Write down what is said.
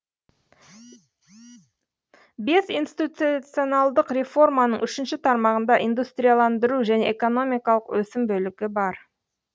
бес институционалдық реформаның үшінші тармағында индустрияландыру және экономикалық өсім бөлімі бар